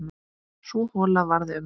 Sú hola varð um